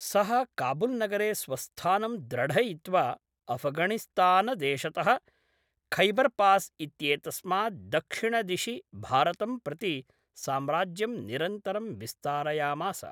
सः काबुल्नगरे स्वस्थानं द्रढयित्वा अफगाणिस्तानदेशतः खैबर्पास् इत्येतस्मात् दक्षिणदिशि भारतं प्रति साम्राज्यं निरन्तरं विस्तारयामास।